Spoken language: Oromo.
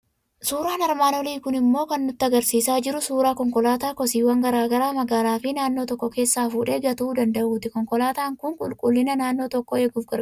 Suuraan armaan olii kun immooo kan inni nutti argisiisaa jiru suuraa konkolaataa kosiiwwan garaa garaa magaalaa fi naannoo tokko keessaa fuudhee gatuu danda'uuti. Konkolaataan kun qulqullina naannoo tokkoo eeguuf gargaara.